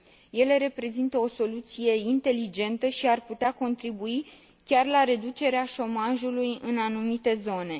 Ele reprezintă o soluție inteligentă și ar putea contribui chiar la reducerea șomajului în anumite zone.